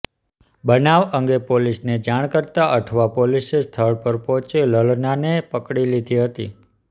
બનાવ અંગે પોલીસને જાણ કરાતાં અઠવા પોલીસે સ્થળ પર પહોંચી લલનાને પકડી લીધી હતી